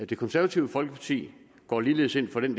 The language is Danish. det konservative folkeparti går ligeledes ind for den